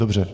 Dobře.